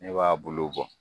Ne b'a buluw bɔ